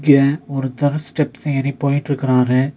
இங்க ஒருத்தர் ஸ்டெப்ஸ் ஏறி போயிட்ருக்கறாரு.